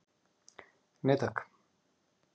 Nei takk